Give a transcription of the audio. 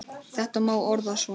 Þetta má orða svo að